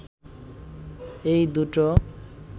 এই দুটো